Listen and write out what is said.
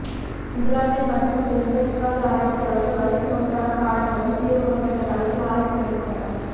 இங்கிலாந்தை மற்றும் சேர்ந்த இத்தாலி ஆராய்சியாளர்கள் வலிப்பு நோய்கான காரணங்களும் தீர்வுகளும் என்ற தலைப்பில் ஆராய்ச்சி மேற்கொண்டனர்